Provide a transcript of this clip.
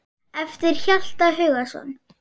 eftir Hjalta Hugason